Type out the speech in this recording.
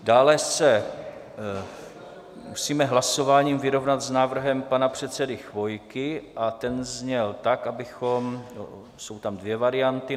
Dále se musíme hlasováním vyrovnat s návrhem pana předsedy Chvojky a ten zněl tak, abychom - jsou tam dvě varianty.